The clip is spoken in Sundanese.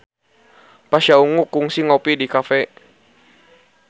Pasha Ungu kungsi ngopi di cafe